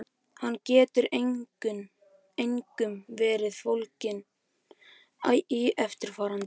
Hann getur einkum verið fólginn í eftirfarandi